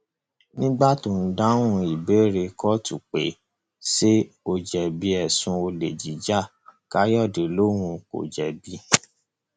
nígbà tó ń dáhùn ìbéèrè kóòtù pé ṣé ó jẹbi ẹsùn olè jíja káyọdé lòun kò jẹbi